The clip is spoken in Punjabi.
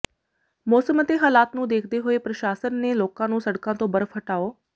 ਮੌਸਮ ਅਤੇ ਹਾਲਾਤ ਨੂੰ ਦੇਖਦੇ ਹੋਏ ਪ੍ਰਸ਼ਾਸਨ ਨੇ ਲੋਕਾਂ ਨੂੰ ਸੜਕਾਂ ਤੋਂ ਬਰਫ਼ ਹਟਾਉ